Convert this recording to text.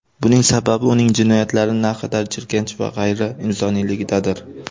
Buning sababi uning jinoyatlari naqadar jirkanch va g‘ayriinsoniyligidadir.